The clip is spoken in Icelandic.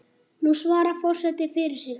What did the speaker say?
Nú svarar forseti fyrir sig.